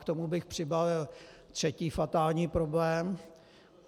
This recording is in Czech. K tomu bych přibalil třetí fatální problém.